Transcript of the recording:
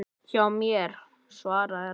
Hjá mér? svaraði Ragna.